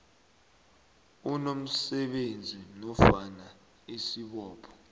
unomsebenzi nofana isibopho